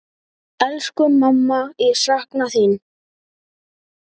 Elsku mamma, ég sakna þín.